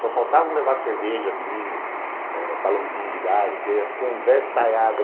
Só faltava levar cerveja, vinho, balãozinho de gás, porque ia conversaiada.